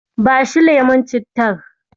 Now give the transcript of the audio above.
Bashi lemon cittar.